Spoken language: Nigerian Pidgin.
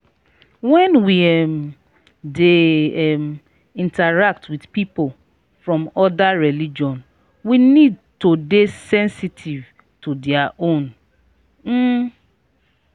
when we um dey um interact with pipo from oda religion we need to dey sensitive to their own um